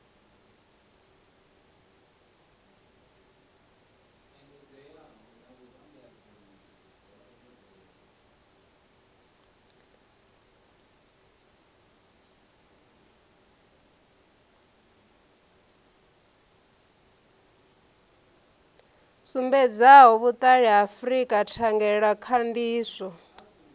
sumbedzaho vhuṱali ha frika thangelakhandiso